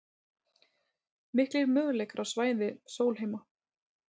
Miklir möguleikar á svæði Sólheima